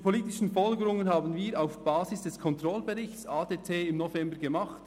Die politischen Folgerungen haben wir auf Basis des Controllingberichts ADT im November gemacht.